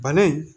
Bana in